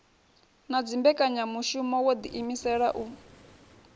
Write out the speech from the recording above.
na dzimbekanyamushumo wo ḓiimisela u